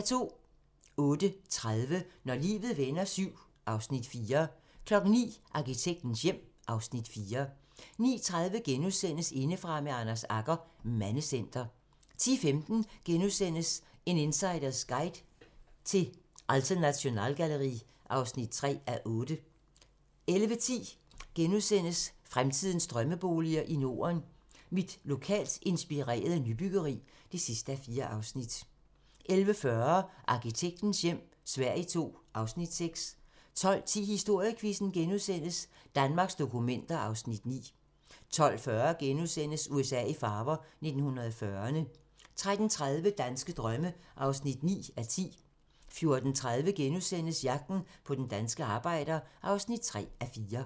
08:30: Når livet vender VII (Afs. 4) 09:00: Arkitektens hjem (Afs. 4) 09:30: Indefra med Anders Agger - Mandecenter * 10:15: En insiders guide til Alte Nationalgalerie (3:8)* 11:10: Fremtidens drømmeboliger i Norden: Mit lokalt inspirerede nybyggeri (4:4)* 11:40: Arkitektens hjem - Sverige II (Afs. 6) 12:10: Historiequizzen: Danmarks dokumenter (Afs. 9)* 12:40: USA i farver - 1940'erne * 13:30: Danske drømme (9:10) 14:30: Jagten på den danske arbejder (3:4)*